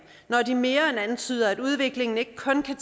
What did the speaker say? når de mere end antyder at udviklingen ikke kun kan